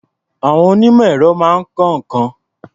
Àwọn onímọ̀-èrọ máa ń kọ́ nǹkan.